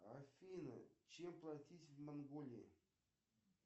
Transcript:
афина чем платить в монголии